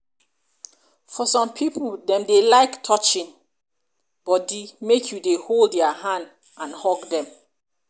for some pipo dem dey like touching body make you dey hold their hand and hug them